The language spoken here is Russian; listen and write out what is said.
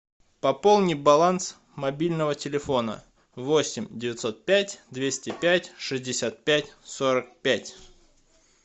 пополни баланс мобильного телефона восемь девятьсот пять двести пять шестьдесят пять сорок пять